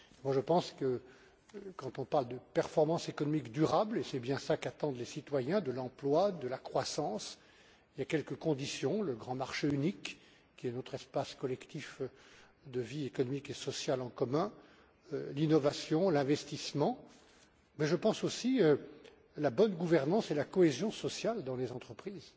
Je pense que, quand on parle de performances économiques durables et c'est bien cela qu'attendent les citoyens de l'emploi, de la croissance, il y a quelques conditions le grand marché unique qui est notre espace collectif de vie économique et sociale en commun l'innovation, l'investissement, mais je pense aussi à la bonne gouvernance et à la cohésion sociale dans les entreprises.